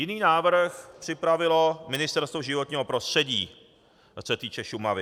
Jiný návrh připravilo Ministerstvo životního prostředí, co se týče Šumavy.